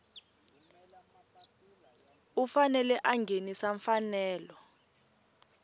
u fanele a nghenisa mfanelo